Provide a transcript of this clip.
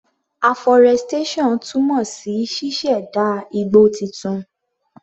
Aforestation túmọ̀ sí ṣíṣẹ̀dá igbó titun.